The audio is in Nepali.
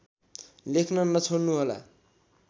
लेख्न नछोड्नुहोला